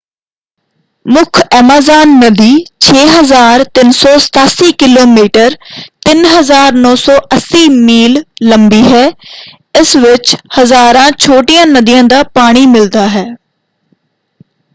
ਮੁੱਖ ਐਮਾਜ਼ਾਨ ਨਦੀ 6,387 ਕਿਮੀ 3,980 ਮੀਲ ਲੰਬੀ ਹੈ। ਇਸ ਵਿੱਚ ਹਜ਼ਾਰਾਂ ਛੋਟੀਆਂ ਨਦੀਆਂ ਦਾ ਪਾਣੀ ਮਿਲਦਾ ਹੈ।